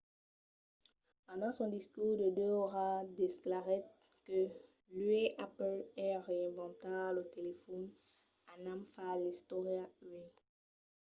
pendent son discors de 2 oras declarèt que uèi apple es a reinventar lo telefòn anam far l'istòria uèi